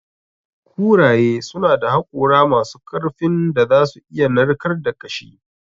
Kuraye suna da hakora masu ƙarfin da za su iya narkar da ƙashi.